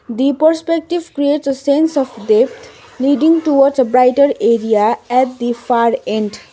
the perspective creates a sense of depth leading to a brigher area at the far end.